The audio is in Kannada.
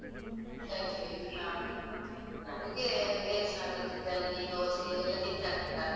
ಗಂಜಿ ಬೇಕು. ಹಾ ಹಾ ನಮ್ಗೆ ಎನ್ಸಾ ಆಗುತ್ತೆ ಗಂಜಿ, ದೋಸೆ ಎಲ್ಲ ತಿಂತಾರೆ ರಾತ್ರಿ.